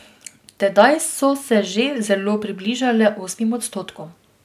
Tedaj so se že zelo približale osmim odstotkom.